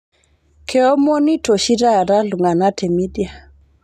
Keomonito oshi taa ltung'ana te media